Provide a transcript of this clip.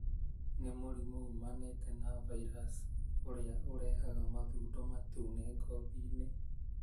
Nĩ mũrimũ ũmanĩte na virus ũrĩa ũrehaga mathũndo matune ngothi-inĩ,